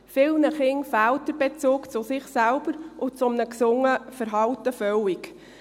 Vielen Kindern fehlt der Bezug zu sich selbst und zu einem gesunden Verhalten komplett.